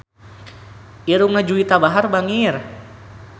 Irungna Juwita Bahar bangir